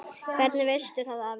Hvernig veistu það afi?